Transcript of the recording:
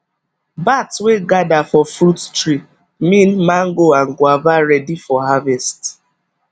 bat wey gather for fruit tree mean mango and guava ready for harvest